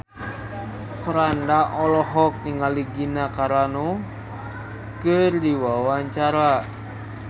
Franda olohok ningali Gina Carano keur diwawancara